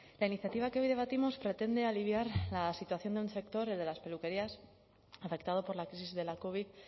la iniciativa que hoy debatimos pretende aliviar la situación de un sector el de las peluquerías afectado por la crisis de la covid